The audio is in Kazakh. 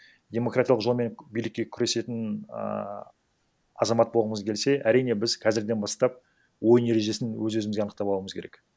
демократиялық жолмен билікке күресетін ааа азамат болғымыз келсе әрине біз қазірден бастап ойын ережесін өз өзімізге анықтап алуымыз керек